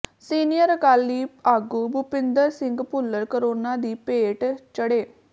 senior Akali ਆਗੂ Bhupinder Singh Bhullar corona ਦੀ ਭੇਟ ਚੜ੍ਹੇ